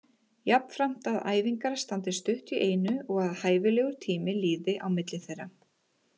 Jafnframt að æfingar standi stutt í einu og að hæfilegur tími líði á milli þeirra.